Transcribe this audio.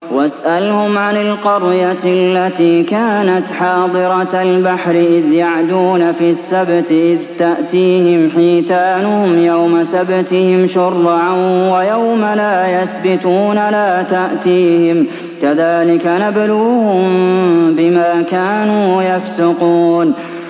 وَاسْأَلْهُمْ عَنِ الْقَرْيَةِ الَّتِي كَانَتْ حَاضِرَةَ الْبَحْرِ إِذْ يَعْدُونَ فِي السَّبْتِ إِذْ تَأْتِيهِمْ حِيتَانُهُمْ يَوْمَ سَبْتِهِمْ شُرَّعًا وَيَوْمَ لَا يَسْبِتُونَ ۙ لَا تَأْتِيهِمْ ۚ كَذَٰلِكَ نَبْلُوهُم بِمَا كَانُوا يَفْسُقُونَ